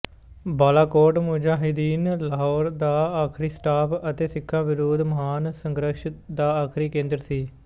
ਬਾਲਾਕੋਟ ਮੁਜਾਹਿਦੀਨ ਲਹਿਰ ਦਾ ਆਖਰੀ ਸਟਾਪ ਅਤੇ ਸਿੱਖਾਂ ਵਿਰੁੱਧ ਮਹਾਨ ਸੰਘਰਸ਼ ਦਾ ਆਖਰੀ ਕੇਂਦਰ ਸੀ